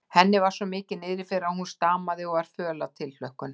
Henni var svo mikið niðri fyrir að hún stamaði og var föl af tilhlökkun.